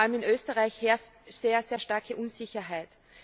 Vor allem in Österreich herrscht sehr, sehr starke Unsicherheit.